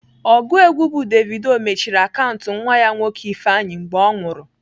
Ọgụ egwu bụ Davido mechiri akaụntụ nwa ya nwoke Ifeanyi mgbe ọ nwụrụ.